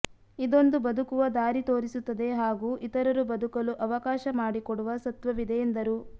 ಇದೊಂದು ಬದುಕುವ ದಾರಿ ತೋರಿಸುತ್ತದೆ ಹಾಗೂ ಇತರರು ಬದುಕಲು ಅವಕಾಶ ಮಾಡಿಕೊಡುವ ಸತ್ವವಿದೆ ಎಂದರು